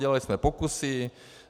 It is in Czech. Dělali jsme pokusy.